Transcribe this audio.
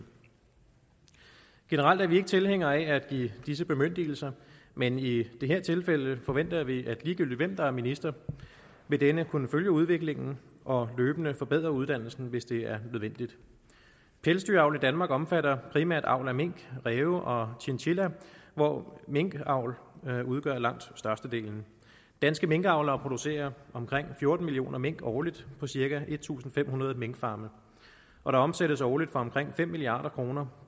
generelt er vi ikke tilhængere af at give disse bemyndigelser men i det her tilfælde forventer vi at ligegyldigt hvem der er minister vil denne kunne følge udviklingen og løbende forbedre uddannelsen hvis det er nødvendigt pelsdyravl i danmark omfatter primært avl af mink ræv og chinchilla hvor minkavl udgør langt størstedelen danske minkavlere producerer omkring fjorten millioner mink årligt på cirka en tusind fem hundrede minkfarme og der omsættes årligt for omkring fem milliard kroner